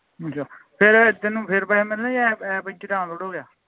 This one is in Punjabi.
ਚੰਗਾ ਫੇਰ ਤੈਨੂੰ ਫੇਰ ਪੈਸੇ ਮਿਲਣੇ ਆ ਜੇ app app ਇਹਦੇ ਵਿਚ download ਹੋ ਗਿਆ